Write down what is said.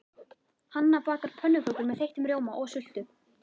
Hanna bakar pönnukökur með þeyttum rjóma og sultu.